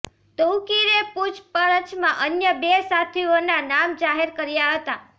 તૌકીરે પૂછપરછમાં અન્ય બે સાથીઓના નામ જાહેર કર્યા હતા